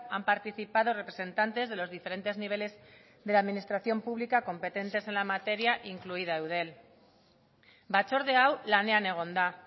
han participado representantes de los diferentes niveles de la administración pública competentes en la materia incluida eudel batzorde hau lanean egon da